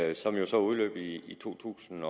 ii som jo så udløb i to tusind